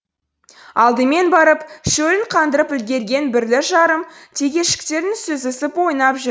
алдымен барып шөлін қандырып үлгерген бірлі жарым текешіктерін сүзісіп ойнап жүр